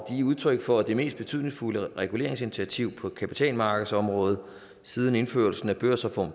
udtryk for det mest betydningsfulde reguleringsinitiativ på kapitalmarkedsområdet siden indførelsen af børsreform